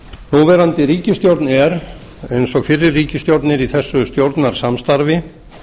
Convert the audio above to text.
núverandi ríkisstjórn er eins og fyrri ríkisstjórnir í þessu stjórnarsamstarfi